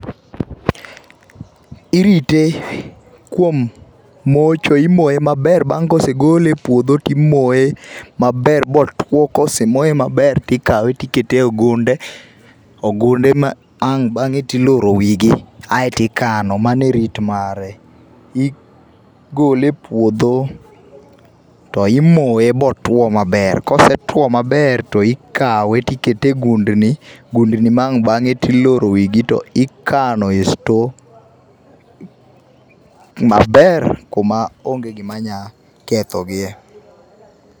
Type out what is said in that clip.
Irite kuom mocho ,imoye maber bang' kosegole e puodho timoye maber motuo. Kosemoye maber tikawe tikete. e ogunde, ogunde ma ang' bange tiloro wigi aito ikano, mano e rit mare, igole e puodho to imoe motuo maber, kosetuo maber tikawe tikete e gundni, gundni ma wang bang'e tiloro wigi to ikane store maber kuma onge gima nya ketho gie